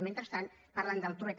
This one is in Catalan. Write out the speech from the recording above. mentrestant parlen del trueta